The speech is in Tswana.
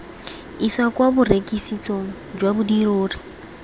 isa kwa borekisetsong jwa dirori